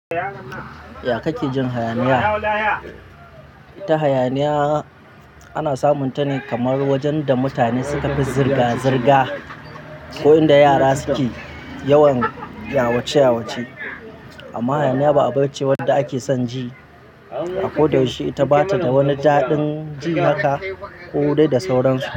Ya kake jin hayaniya? Ta hayaniya ana samunta ne kamar wajen da mutane suka fi zirga-zirga ko inda yara suke yawan yawace-yawace. Amma hayaniya ba abun ce wanda ake son ji a ko da yaushe, ita bata da wani daɗin ji haka ko dai da sauransu.